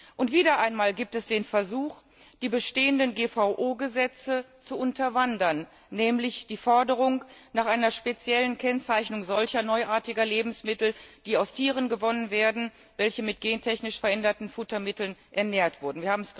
Und wieder einmal gibt es den Versuch, die bestehenden GVO Gesetze zu unterwandern, nämlich die Forderung nach einer speziellen Kennzeichnung solcher neuartiger Lebensmittel, die aus Tieren gewonnen werden, welche mit gentechnisch veränderten Futtermitteln ernährt wurden.